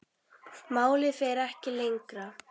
Málið fer ekki lengra.